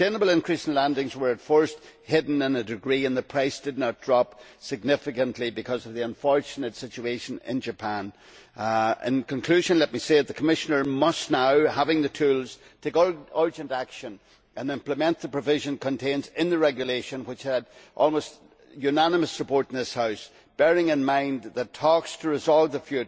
This unsustainable increase in landings was at first hidden to a degree, and the price did not drop significantly because of the unfortunate situation in Japan. In conclusion, let me say that the Commissioner, now that she has the tools, must take urgent action and implement the relevant provision contained in the Regulation, which had almost unanimous support in this House, bearing in mind that talks to resolve the